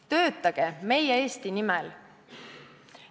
Töötage meie Eesti nimel!